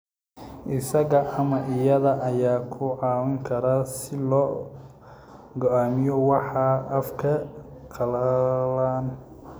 Isaga ama iyada ayaa ku caawin kara si loo go'aamiyo waxa afkaaga qalalan.